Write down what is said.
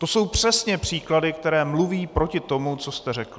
To jsou přesně příklady, které mluví proti tomu, co jste řekl.